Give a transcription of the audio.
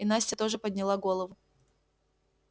и настя тоже подняла голову